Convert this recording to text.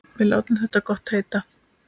Við látum þetta gott heita.